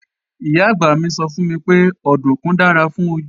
Ìyá-àgbà mi sọ fún mi pé òdùnkún dára fún ojú